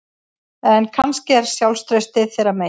En kannski er sjálfstraustið þeirra megin